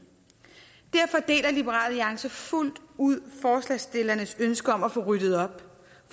derfor deler liberal alliance fuldt ud forslagsstillernes ønske om at få ryddet op